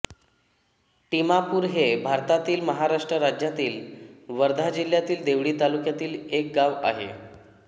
टिमापूर हे भारतातील महाराष्ट्र राज्यातील वर्धा जिल्ह्यातील देवळी तालुक्यातील एक गाव आहे